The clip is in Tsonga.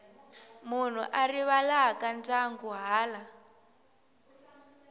munhu a rivalaka ndyangu hala